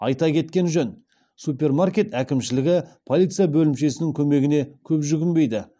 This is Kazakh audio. айта кеткен жөн супермаркет әкімшілігі полиция бөлімшесінің көмегіне көп жүгінбейді